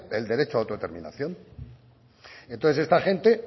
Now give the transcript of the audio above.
el derecho a la autodeterminación entonces esta gente